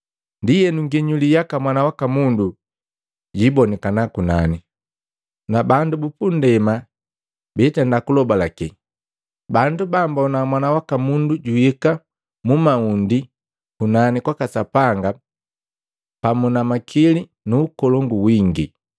Ndienu nginyuli yaka Mwana waka Mundu jiibonikana kunani, na bandu bupunndema biitenda kulobalake, bandu bammbona Mwana waka Mundu juhika mu maundi kunani kwaka Sapanga pamu na makili nu ukolongu wingi.